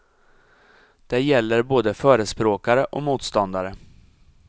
Det gäller både förespråkare och motståndare.